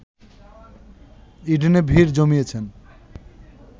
ইডেনে ভিড় জমিয়েছেন